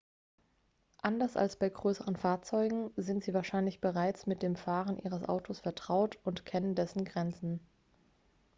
anders als bei größeren fahrzeugen sind sie wahrscheinlich bereits mit dem fahren ihres autos vertraut und kennen dessen grenzen